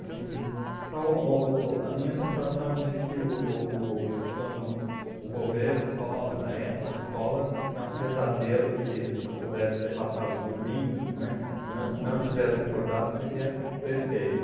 Assim de... Então, o o o o a minha sensação de que o o plano, o governo Collor, a época do Collor, é um pesadelo que se eu pudesse ter passado dormindo, né, não não estivesse acordado, seria perfeito.